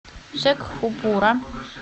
шекхупура